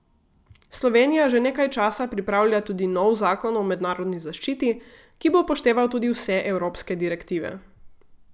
Slovenija že nekaj časa pripravlja tudi nov zakon o mednarodni zaščiti, ki bo upošteval tudi vse evropske direktive.